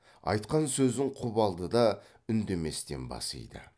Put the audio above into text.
айтқан сөзін құп алды да үндеместен бас иді